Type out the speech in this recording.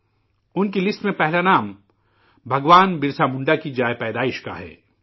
ان کی فہرست میں پہلا نام، بھگوان برسا منڈا کے جائے پیدائش کا ہے